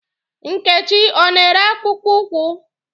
Nkechi ọ na-ere akpụkpụ ụkwụ?